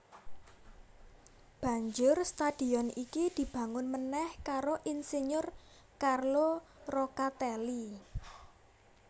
Banjur stadion iki dibangunmeneh karo insinyur Carlo Roccatelli